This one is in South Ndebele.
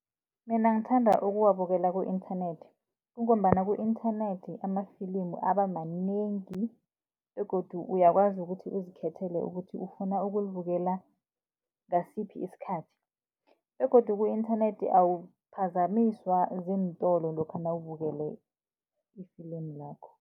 Mina ngithanda ukuwabukela ku-inthanethi, kungombana ku-inthanethi ama-film aba manengi begodu uyakwazi ukuthi uzikhethele ukuthi, ufuna ukulibukela ngasiphi isikhathi. Begodu ku-inthanethi awuphazamiswa ziintolo, lokha nawubukele i-film lakho.